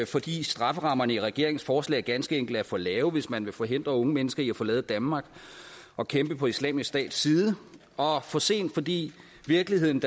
fordi strafferammerne i regeringens forslag ganske enkelt er for lave hvis man vil forhindre unge mennesker i at forlade danmark og kæmpe på islamisk stats side og for sent fordi virkeligheden